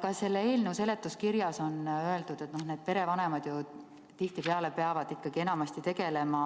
Ka selle eelnõu seletuskirjas on öeldud, et tihtipeale need perevanemad peavad enamasti tegelema